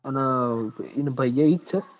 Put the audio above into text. અન ઈન ભઈ એ ઈજ સ?